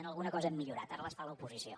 en alguna cosa hem millorat ara les fa l’oposició